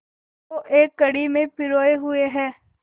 को एक लड़ी में पिरोए हुए हैं